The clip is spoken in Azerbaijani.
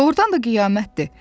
Doğrudan da qiyamətdir.